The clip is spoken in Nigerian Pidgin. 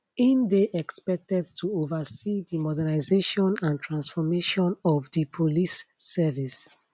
im dey expected to oversee di modernisation and transformation of di police service